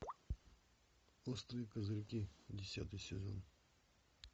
острые козырьки десятый сезон